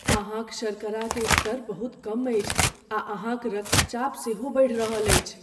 अहाँक शर्करा के स्तर बहुत कम अछि, आ अहाँक रक्तचाप सेहो बढ़ि रहल अछि।